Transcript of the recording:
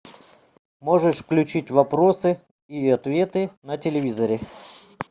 можешь включить вопросы и ответы на телевизоре